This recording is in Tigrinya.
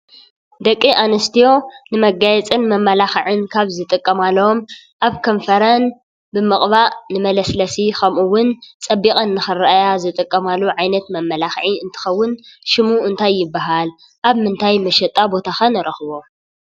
ደቂ ኣንስትዮ ንመጋየጽን መመላኽዕን ካብ ዝጥቀማሎም ኣብ ከንፈረን ብምቕባእ ንመለስለሲ ከምኡ እውን ፀቢቀን ንኽረኣያን ዝጥቀማሉ ዓይነት መመላኽዒ እንትኸውን ሽሙ እንታይ ይባሃል? ኣብምንታይ መሸጣ ቦታ ኸ ንረኽቦ?